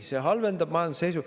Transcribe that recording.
See halvendab majanduse seisu.